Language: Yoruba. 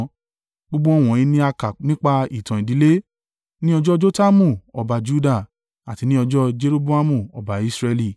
Gbogbo wọ̀nyí ni a kà nípa ìtàn ìdílé, ní ọjọ́ Jotamu ọba Juda, àti ní ọjọ́ Jeroboamu ọba Israẹli.